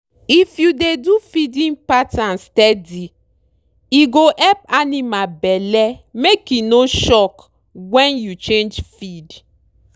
if you dey do feeding pattern steady e go help animal belle make e no shock when you change feed.